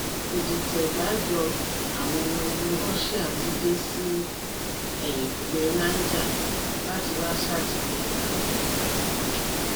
ìdìtẹgbájọ àwọn ọmọ ogun russia ti dé sí ẹyìnkùlé niger láti wáá ṣàtìlẹyìn fún wọn